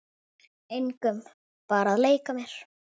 Engum, bara að leika mér